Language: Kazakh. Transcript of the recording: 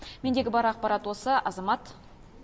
мендегі бар ақпарат осы азамат